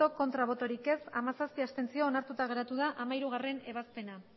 bai hamazazpi abstentzio onartuta geratu da hamairugarrena ebazpena